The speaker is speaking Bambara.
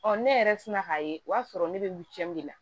ne yɛrɛ sina k'a ye o y'a sɔrɔ ne bɛ de la